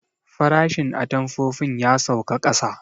Farashin atamfofin ya sauka ƙasa